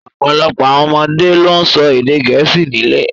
Ọ̀pọ̀lọpọ̀ àwọn ọmọdé ló ń sọ èdè Gẹ̀ẹ́sì nílé